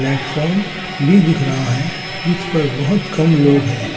Platform भी दिख रहा है जिस पर बहुत कम लोग हैं।